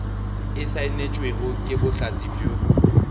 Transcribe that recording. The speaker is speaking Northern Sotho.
e saenetšwego ke bohlatse bjo